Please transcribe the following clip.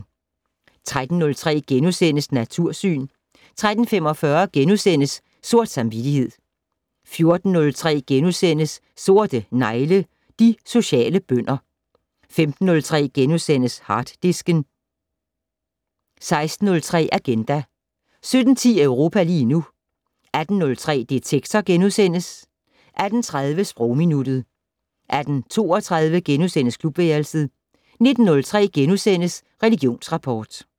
13:03: Natursyn * 13:45: Sort samvittighed * 14:03: Sorte negle: De sociale bønder * 15:03: Harddisken * 16:03: Agenda 17:10: Europa lige nu 18:03: Detektor * 18:30: Sprogminuttet 18:32: Klubværelset * 19:03: Religionsrapport *